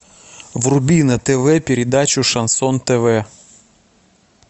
вруби на тв передачу шансон тв